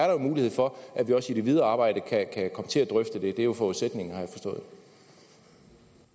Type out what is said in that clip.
jo mulighed for at vi også i det videre arbejde kan komme til at drøfte det det er jo forudsætningen har